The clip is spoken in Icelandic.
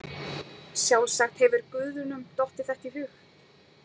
Sjálfsagt hefur guðunum dottið þetta í hug.